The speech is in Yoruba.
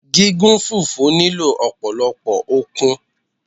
Gígún fùfú nílò ọ̀pọ̀lọ́pọ̀ okun